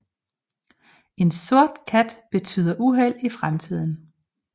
En sort kat betyder uheld i fremtiden